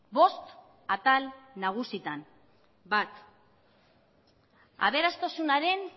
bost atal nagusitan bat aberastasunaren